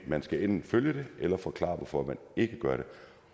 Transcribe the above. man skal enten følge det eller forklare hvorfor man ikke gør det